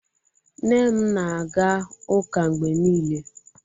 nne m na-aga ụka mgbe niile